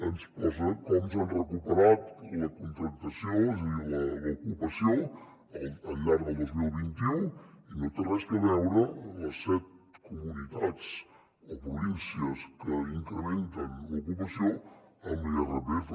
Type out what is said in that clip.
ens posa com s’ha recuperat la contractació és a dir l’ocupació al llarg del dos mil vint u i no tenen res a veure les set comunitats o províncies que incrementen l’ocupació amb l’irpf